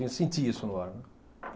Eu senti isso no ar, né.